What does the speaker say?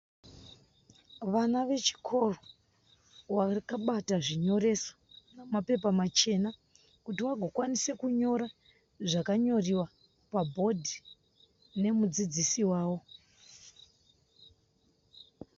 Vana vechikoro vakabata zvinyoreso nemapepa machena kuti vagokwanisa kunyora zvakanyoriwa pabhodhi nemudzidzisi wavo.